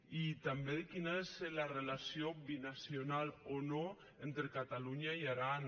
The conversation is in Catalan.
i també quina és la relació binacional o no entre catalunya i aran